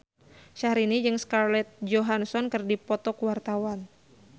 Syahrini jeung Scarlett Johansson keur dipoto ku wartawan